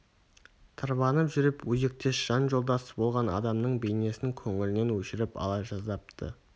тырбанып жүріп өзектес жан жолдасы болған адамның бейнесін көңілінен өшіріп ала жаздапты